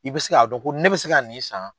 I bɛ se k'a dɔn ko ne bɛ se ka nin san.